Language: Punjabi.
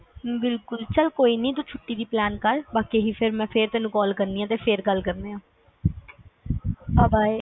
ਹਮ ਬਿਲਕੁਲ ਚਲ ਤੂੰ ਛੁੱਟੀ ਦੀ plan ਕਰ ਬਾਕੀ ਤੈਨੂੰ ਮੈਂ ਫੇਰ ਕਾਲ ਕਰਦੀ ਆ ਫੇਰ ਗੱਲ ਕਰਦੇ ਆ bye bye